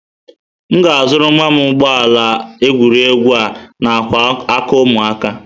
M ga-azụrụ nwa m ụgbọ ala egwuregwu a-na ákwà aka ụmụaka.